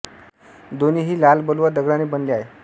दोन्ही ही लाल बलुआ दगडा ने बनले आहे